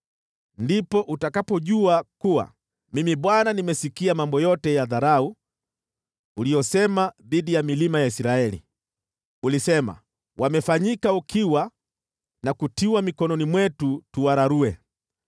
Ndipo utakapojua kuwa Mimi Bwana nimesikia mambo yote ya dharau uliyosema dhidi ya milima ya Israeli. Ulisema, “Wamefanyika ukiwa na kutiwa mikononi mwetu tuwararue.”